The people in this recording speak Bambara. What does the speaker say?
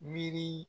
Miiri